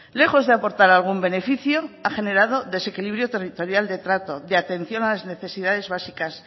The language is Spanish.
lejos de aportar algún beneficio ha generado desequilibrio territorial de trato de atención a las necesidades básicas